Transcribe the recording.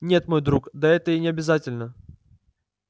нет мой друг да это и не обязательно